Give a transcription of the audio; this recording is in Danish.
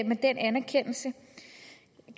med den anerkendelse